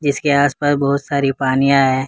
इसके आस पास बहुत सारी पानियाँ हैं।